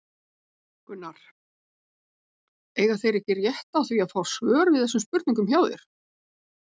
Gunnar: Eiga þeir ekki rétt á því að fá svör við þessum spurningum hjá þér?